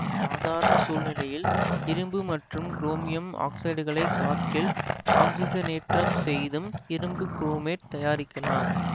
சாதாரண சூழ்நிலையில் இரும்பு மற்றும் குரோமியம் ஆக்சைடுகளை காற்றில் ஆக்சிசனேற்றம் செய்தும் இரும்பு குரோமேட்டு தயாரிக்கலாம்